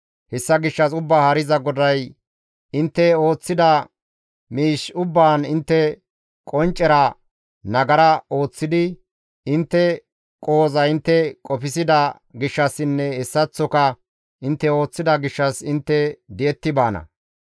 «Hessa gishshas Ubbaa Haariza GODAY, ‹Intte ooththida miish ubbaan intte qonccera nagara ooththidi intte qohoza intte qofsida gishshassinne hessaththoka intte ooththida gishshas intte di7etti baana.